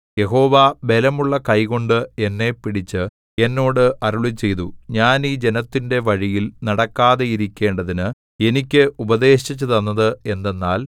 യഹോവ ബലമുള്ള കൈകൊണ്ട് എന്നെ പിടിച്ച് എന്നോട് അരുളിച്ചെയ്തു ഞാൻ ഈ ജനത്തിന്റെ വഴിയിൽ നടക്കാതെയിരിക്കേണ്ടതിന് എനിക്ക് ഉപദേശിച്ചുതന്നത് എന്തെന്നാൽ